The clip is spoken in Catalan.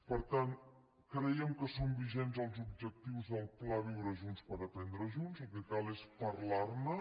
per tant creiem que són vigents els objectius del pla viure junts per aprendre junts el que cal és parlarne